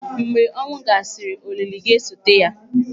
Mgbe ọnwụ gasịrị, olili ga-esote ya.